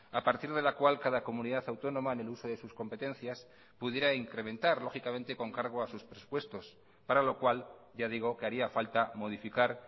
a partir de la cual cada comunidad autónoma en el uso de sus competencias pudiera incrementar lógicamente con cargo a sus presupuestos para lo cual ya digo que haría falta modificar